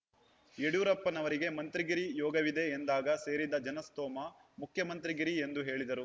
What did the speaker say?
ಯಡಿಯೂರಪ್ಪನವರಿಗೆ ಮಂತ್ರಿಗಿರಿ ಯೋಗವಿದೆ ಎಂದಾಗ ಸೇರಿದ್ದ ಜನಸ್ತೋಮ ಮುಖ್ಯಮಂತ್ರಿಗಿರಿ ಎಂದು ಹೇಳಿದರು